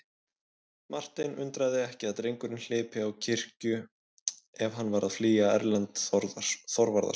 Martein undraði ekki að drengurinn hlypi á kirkju ef hann var að flýja Erlend Þorvarðarson.